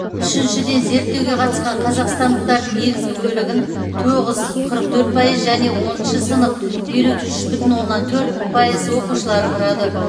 үшіншіден зерттеуге қатысқан қазақстандықтардың негізгі бөлігін тоғыз қырық төрт пайыз және оныншы сынып елу үш бүтін оннан төрт пайыз оқушылары құрады